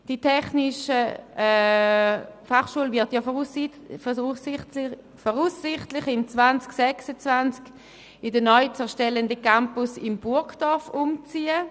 Die TF Bern wird voraussichtlich 2026 in den neu zu erstellenden Campus in Burgdorf umziehen.